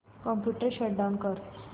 computer shut down कर